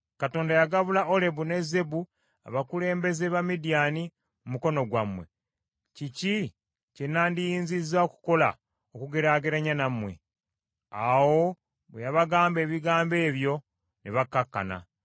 Katonda yagabula Olebu ne Zeebu abakulembeze ba Midiyaani mu mukono gwammwe. Kiki kye nandiyinzizza okukola okugeraageranya nammwe?” Awo bwe yabagamba ebigambo ebyo ne bakkakkana.